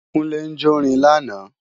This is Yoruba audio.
Kúnlé ń jórin lánàá